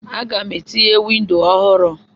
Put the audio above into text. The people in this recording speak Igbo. Aga m etinye windo ọhụrụ.